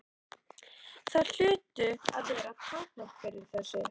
Það hlutu að vera takmörk fyrir þessu.